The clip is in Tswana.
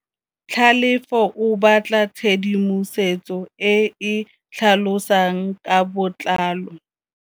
Tlhalefô o batla tshedimosetsô e e tlhalosang ka botlalô.